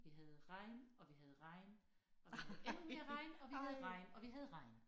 Vi havde regn og vi havde regn og vi havde endnu mere regn og vi havde regn og vi havde regn